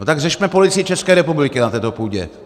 No tak řešme Policii České republiky na této půdě!